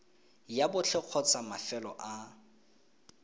la botlhe kgotsa mafelo a